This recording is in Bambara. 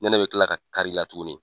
Nɛnɛ bi kila ka kari la tuguni